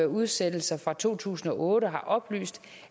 udsættelser fra to tusind og otte før har oplyst